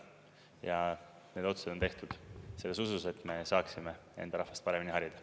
Ja need otsused on tehtud selles usus, et me saaksime enda rahvast paremini harida.